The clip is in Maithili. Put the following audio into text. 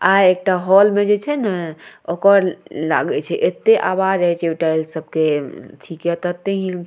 आय एकटा हॉल में जे छै ने ओकर लागे छै एते आवाज होय छै टाइल्स सब के --